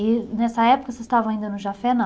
E nessa época vocês estavam ainda no Jafet, não?